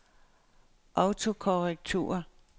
autokorrektur